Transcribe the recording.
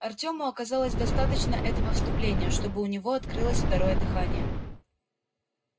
артёму оказалось достаточно этого вступления чтобы у него открылось второе дыхание